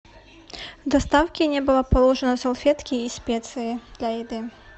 в доставке не было положено салфетки и специи для еды